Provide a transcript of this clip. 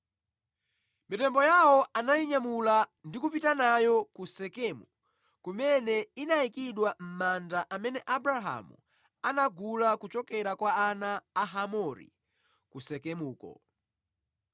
Mitembo yawo anayinyamula ndi kupita nayo ku Sekemu kumene inayikidwa mʼmanda amene Abrahamu anagula kochokera kwa ana a Hamori ku Sekemuko.